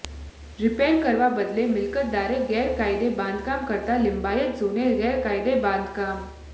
repair કરવાના બદલે મિલ્કતદારે ગેરકાયદે બાંધકામ કરતાં લિંબાયત ઝોને ગેરકાયદે બાંધકામ